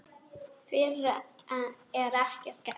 Fyrr er ekkert gert.